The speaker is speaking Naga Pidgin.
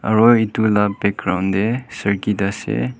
Aro etu la background dae circuit ase.